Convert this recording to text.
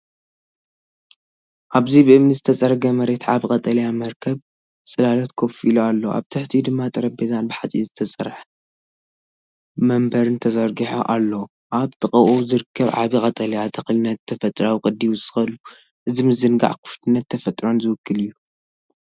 ኣብዚ ብእምኒ ዝተጸረገ መሬት ዓቢ ቀጠልያ መርበብ ጽላሎት ኮፍ ኢሉ ኣሎ፤ ኣብ ትሕቲኡ ድማ ጠረጴዛን ብሓጺን ዝተሰርሐ መንበርን ተዘርጊሑ ኣሎ። ኣብ ጥቓኡ ዝርከብ ዓቢ ቀጠልያ ተኽሊ ነቲ ተፈጥሮኣዊ ቅዲ ይውስኸሉ። እዚ ምዝንጋዕን ክፉትነት ተፈጥሮን ዝውክል እዩ።